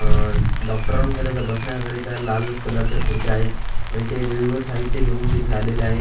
डॉक्टरांकरिता बसण्याकरिता लाल कलरच्या खुर्च्या आहेत आणि ते वेगवेगळे साहित्य घेऊन तिथे आलेले आहेत.